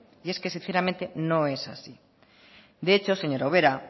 y es que sinceramente no es así de hecho señora ubera